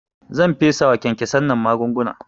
Zan fesawa kyankyasan nan magunguna